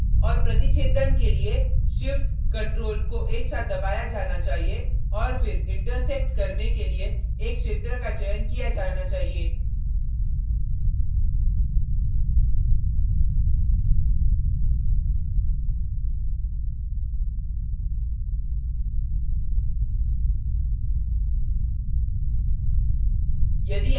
और प्रतिच्छेदन के लिए shift ctrl को एक साथ दबाया जाना चाहिए और फिर intersection करने के लिए एक क्षेत्र का चयन किया जाना चाहिए